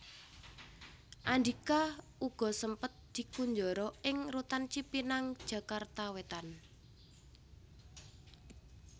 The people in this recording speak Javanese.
Andhika uga sempet dikunjara ing Rutan Cipinang Jakarta Wétan